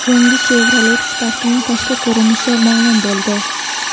Yangi Chevrolet Spark’ning tashqi ko‘rinishi ma’lum bo‘ldi.